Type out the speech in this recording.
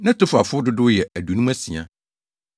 Netofafo dodow yɛ 2 56 1